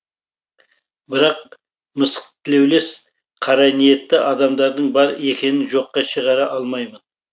бірақ мысықтілеулес қараниетті адамдардың бар екенін жоққа шығара алмаймын